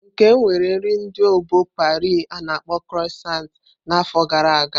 Nkem nwere nri ndi obo Pari a-na akpo kroisont na n'afọ gara aga.